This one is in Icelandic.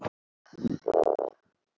Þín Júlí.